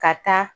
Ka taa